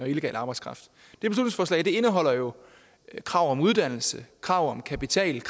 illegal arbejdskraft indeholder jo krav om uddannelse krav om kapital